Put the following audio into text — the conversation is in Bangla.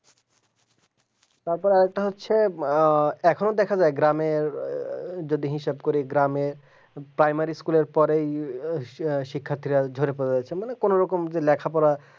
তারপর একটা হচ্ছে যে এখনই দেখা যায় গ্রামে যদি যদি হিসাব করি গ্রামে primary school পড়ে শিক্ষার্থীরা উদ্ভব মানে কোনরকম যে লেখাপড়া